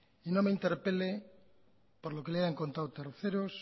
y no me interpele por lo que le hayan contado terceros